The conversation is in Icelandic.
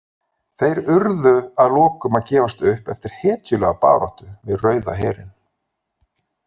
Þeir urðu að lokum að gefast upp eftir hetjulega baráttu við Rauða herinn.